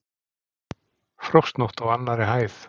Frostnótt á annarri hæð